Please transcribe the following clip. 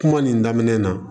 Kuma nin daminɛ na